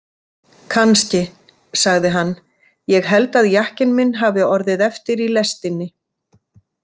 Kannski, sagði hann, ég held að jakkinn minn hafi orðið eftir í lestinni.